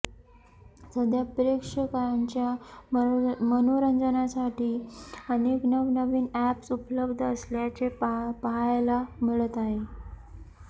सध्या प्रेक्षकांच्या मनोरंजनासाठी अनेक नवनवीन अॅप्स उपलब्ध असल्याचे पाहायला मिळत आहे